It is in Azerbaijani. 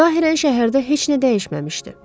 Zahirən şəhərdə heç nə dəyişməmişdi.